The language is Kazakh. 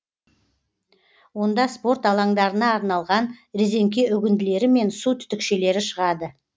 онда спорт алаңдарына арналған резеңке үгінділері мен су түтікшелері шығады